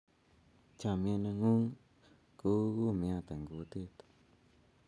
chamiet ne ng'un ko u kumiat eng' kutit